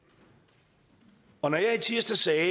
et